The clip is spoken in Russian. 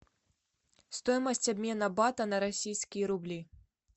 стоимость обмена бата на российские рубли